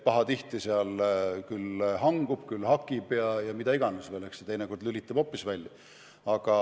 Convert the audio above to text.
Pahatihti pilt hangub, vahel hakib ja mida iganes veel, teinekord lülitub hoopis välja.